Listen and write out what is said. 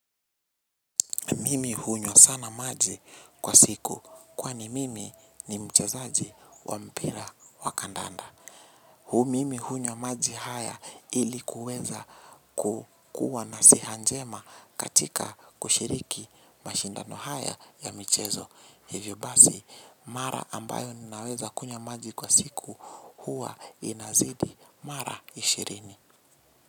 Mimi hunywa sana maji kwa siku kwani mimi ni mchezaji wa mpira wa kandanda. Hu mimi hunywa maji haya ilikuweza kukua na siha njema katika kushiriki mashindano haya ya michezo. Hivyo basi mara ambayo ninaweza kunywa maji kwa siku huwa inazidi mara ishirini.